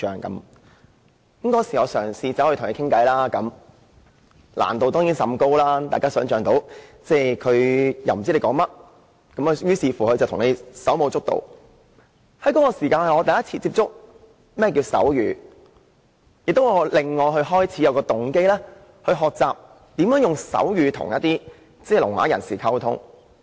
我當時嘗試與他聊天，難度當然甚高，大家可以想象得到，他不知我在說甚麼，於是便向我手舞足蹈，那是我首次接觸手語，亦令我開始有動機學習如何使用手語來與聾啞人士溝通。